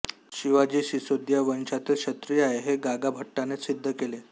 शिवाजी सिसोदिया वंशातील क्षत्रिय आहे हे गागाभट्टाने सिद्ध केले